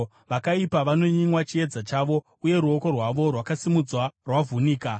Vakaipa vanonyimwa chiedza chavo, uye ruoko rwavo rwakasimudzwa rwavhunika.